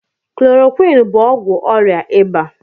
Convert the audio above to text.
Klorokwinụ bụ ọgwụ ọrịa ịba.